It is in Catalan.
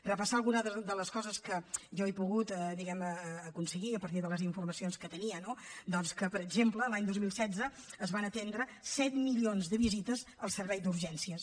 repassar algunes de les coses que jo he pogut diguem ne aconseguir a partir de les informacions que tenia no doncs que per exemple l’any dos mil setze es van atendre set milions de visites al servei d’urgències